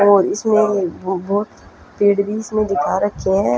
और इसमें बहुत ट्रेडमिल्स भी दिखा रखे है।